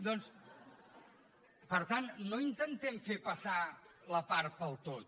doncs per tant no intentem fer passar la part pel tot